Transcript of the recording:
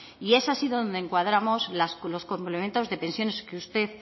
y es así donde encuadramos los complementos de pensiones que usted